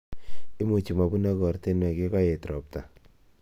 Imuchi mabunok ortinwek yekaet robta